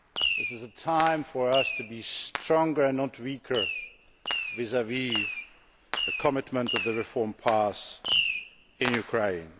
This is a time for us to be stronger and not weaker vis vis the commitment of the reform path in Ukraine.